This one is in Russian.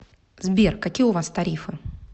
сбер какие у вас тарифы